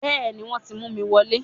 Bẹ́ẹ̀ni wọ́n ti mú mi wọ lé